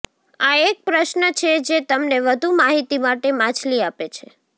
આ એક પ્રશ્ન છે જે તમને વધુ માહિતી માટે માછલી આપે છે